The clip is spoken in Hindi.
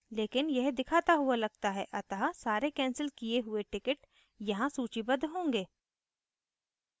लेकिन यह दिखाता हुआ लगता है अतः सारे कैंसिल किये हुए tickets यहाँ सूचीबद्ध होंगे